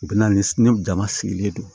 U bɛ na ni jama sigilen don